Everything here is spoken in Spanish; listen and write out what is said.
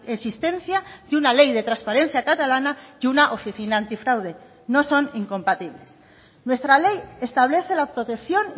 existencia de una ley de transparencia catalana y una oficina antifraude no son incompatibles nuestra ley establece la protección